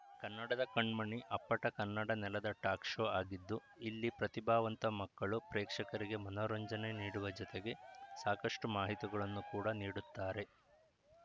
ಕನ್ನಡದ ಕಣ್ಮಣಿ ಅಪ್ಪಟ ಕನ್ನಡ ನೆಲದ ಟಾಕ್‌ ಶೋ ಆಗಿದ್ದು ಇಲ್ಲಿ ಪ್ರತಿಭಾವಂತ ಮಕ್ಕಳು ಪ್ರೇಕ್ಷಕರಿಗೆ ಮನೋರಂಜನೆ ನೀಡುವ ಜೊತೆಗೆ ಸಾಕಷ್ಟುಮಾಹಿತಿಗಳನ್ನು ಕೂಡಾ ನೀಡುತ್ತಾರೆ